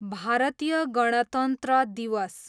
भारतीय गणतन्त्र दिवस